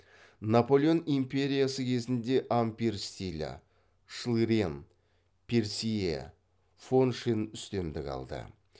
наполеон империясы кезінде ампир стилі шлырен персье фоншен үстемдік алды